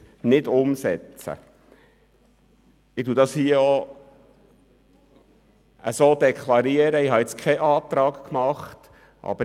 Ich deklariere diesen Appell, ohne einen Antrag gestellt zu haben.